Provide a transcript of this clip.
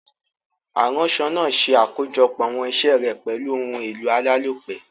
Aránso naa se àkójopò àwon isé rè pèlu oun èlò alálòpé